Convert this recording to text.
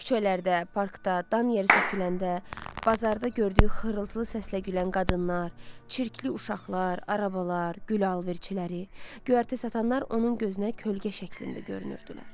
Küçələrdə, parkda, dan yeri söküləndə, bazarda gördüyü xırıltılı səslə gülən qadınlar, çirkli uşaqlar, arabalar, gül alverçiləri, göyərti satanlar onun gözünə kölgə şəklində görünürdülər.